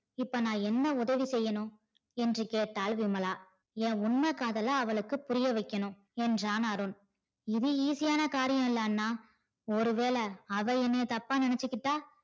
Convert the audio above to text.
இப்ப நா என்ன உதவி செய்யணும் என்று கேட்டால் விமலா ஏன் உண்மை காதல அவளுக்கு புரிய வைக்கணும் என்றான் அருண் இது easy யான காரியம் இல்ல அண்ணா ஒருவேள அவ என்னைய தப்பா நினச்சிட்டா